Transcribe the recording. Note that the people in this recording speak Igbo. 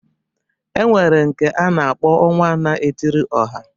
E nwere nke a na-akpọ ọnwa na-etiri ọha